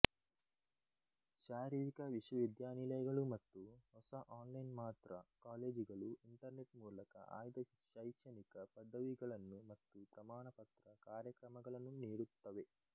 ಶಾರೀರಿಕ ವಿಶ್ವವಿದ್ಯಾನಿಲಯಗಳು ಮತ್ತು ಹೊಸ ಆನ್ಲೈನ್ಮಾತ್ರ ಕಾಲೇಜುಗಳು ಇಂಟರ್ನೆಟ್ ಮೂಲಕ ಆಯ್ದ ಶೈಕ್ಷಣಿಕ ಪದವಿಗಳನ್ನು ಮತ್ತು ಪ್ರಮಾಣಪತ್ರ ಕಾರ್ಯಕ್ರಮಗಳನ್ನು ನೀಡುತ್ತವೆ